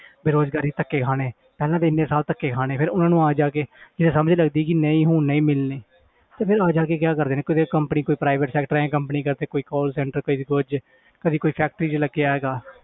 ਬੇਰੁਜ਼ਗਾਰੀ ਧੱਕੇ ਖਾਣੇ ਪਹਿਲਾਂ ਤਾਂ ਇੰਨੇ ਸਾਲ ਧੱਕੇ ਖਾਣੇ ਫਿਰ ਉਹਨਾਂ ਨੂੰ ਆ ਜਾ ਕੇ ਫਿਰ ਸਮਝ ਲੱਗਦੀ ਕਿ ਨਹੀਂ ਹੁਣ ਨਹੀਂ ਮਿਲਣੀ ਤੇ ਫਿਰ ਆ ਜਾ ਕੇ ਕੀ ਕਰਦੇ ਨੇ ਕਿਤੇ company ਕੋਈ private sector ਹੈ ਜਾਂ company ਕਿਤੇ ਕੋਈ call center ਕਿਤੇ ਕੁੱਝ ਕਿਤੇ ਕੋਈ factory 'ਚ ਲੱਗਿਆ ਹੈਗਾ